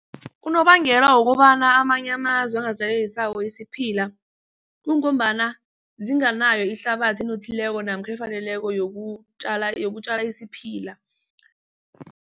Unobangela wokobana amanye amazwe angazitjaleli sawo isiphila kungombana zingenayo ihlabathi enothileko namkha efaneleko yokutjala isiphila.